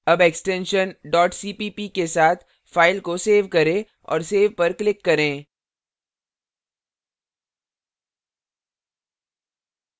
अब extension cpp के साथ file को सेव करें और save पर click करें